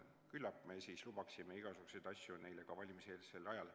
Küllap me siis lubaksime igasuguseid asju neile ka valimiseelsel ajal.